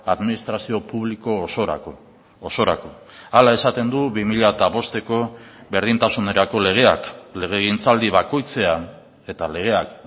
administrazio publiko osorako osorako hala esaten du bi mila bosteko berdintasunerako legeak legegintzaldi bakoitzean eta legeak